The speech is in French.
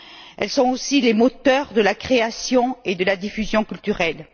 Elles sont aussi les moteurs de la création et de la diffusion culturelles.